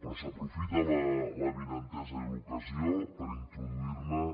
però s’aprofita l’avinentesa i l’ocasió per introduirhi